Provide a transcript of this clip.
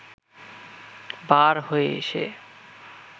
বার হয়ে এসে